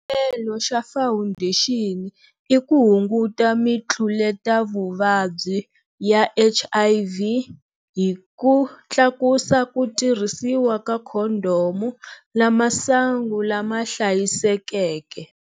Xikongomelo xa fawundexini i ku hunguta mitluletavuvabyi ya HIV hi ku tlakusa ku tirhisiwa ka khondomu na masangu lama hlayisekeke.